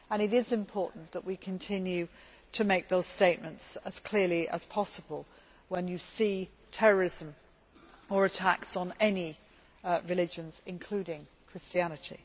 It is important that we continue to make those statements as clearly as possible, when you see terrorism or attacks on any religions, including Christianity.